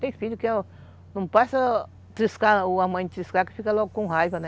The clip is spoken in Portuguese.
Tem filho que não passa a triscar, ou a mãe triscar, que fica logo com raiva, né?